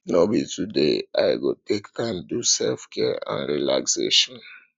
no be today i go take time do selfcare and relaxation